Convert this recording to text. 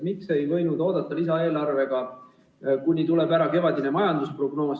Miks ei võinud oodata lisaeelarvega seni, kuni tuleb ära kevadine majandusprognoos?